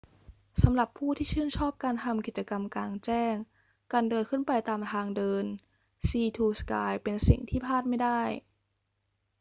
สำหรับผู้ที่ชื่นชอบการทำกิจกรรมกลางแจ้ง การเดินขึ้นไปตามทางเดิน sea to sky เป็นสิ่งที่พลาดไม่ได้